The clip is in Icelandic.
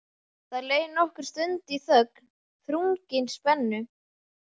Það leið nokkur stund í þögn, þrungin spennu.